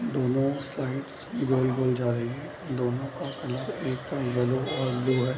दोनों स्लाइड गोल-गोल जा रही है दोनों का कलर एक और ब्लू है।